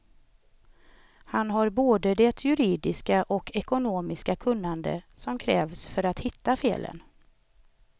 Han har både det juridiska och ekonomiska kunnande, som krävs för att hitta felen.